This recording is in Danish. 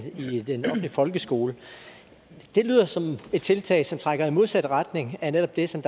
i den offentlige folkeskole det lyder som et tiltag som trækker i modsat retning af netop det som